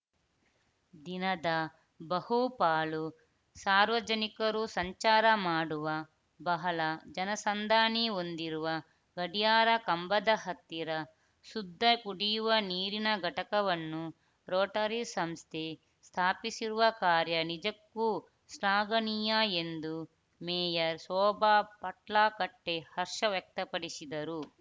ದಿನದ ಬಹು ಪಾಲು ಸಾರ್ವಜನಿಕರು ಸಂಚಾರ ಮಾಡುವ ಬಹಳ ಜನಸಂದಾಣಿ ಹೊಂದಿರುವ ಗಡಿಯಾರ ಕಂಬದ ಹತ್ತಿರ ಶುದ್ಧ ಕುಡಿಯುವ ನೀರಿನ ಘಟಕವನ್ನು ರೋಟರಿ ಸಂಸ್ಥೆ ಸ್ಥಾಪಿಸಿರುವ ಕಾರ್ಯ ನಿಜಕ್ಕೂ ಶ್ಲಾಘನೀಯ ಎಂದು ಮೇಯರ್‌ ಶೋಭಾ ಪಟ್ಲಾ ಗಟ್ಟೆ ವ್ಯಕ್ತಪಡಿಸಿದರು